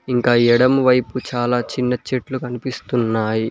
ఇంకా ఎడమ వైపు చాలా చిన్న చెట్లు కనిపిస్తున్నాయి.